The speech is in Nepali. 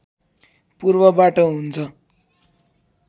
पूर्वबाट हुन्छ